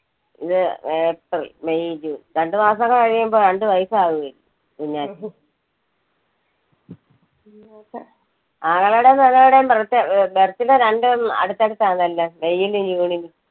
ഇത് April, May, June രണ്ടുമാസം കൂടെ കഴിയുമ്പോൾ രണ്ടു വയസാവില്ലേ കുഞ്ഞാറ്റക്ക് ആങ്ങളെടെയും പെങ്ങളുടെയും ബെർത്ത് birth~birthday രണ്ടും അടുത്തടുത്ത് ആണല്ലോ. മെയിലും ജൂണിലും.